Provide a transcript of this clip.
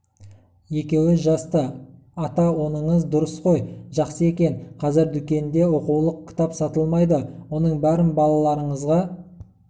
екеуі жасты ата оныңыз дұрыс қой жақсы екен қазір дүкенде оқулық кітап сатылмайды оның бәрін балаларыңызға